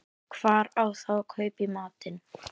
Hvar á þá að kaupa í matinn?